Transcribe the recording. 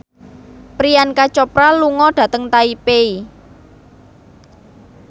Priyanka Chopra lunga dhateng Taipei